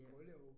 Ja